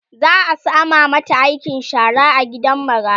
za'a sama mata aikin shara a gidan marayu